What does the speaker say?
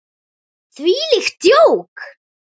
Þvílíkt djók!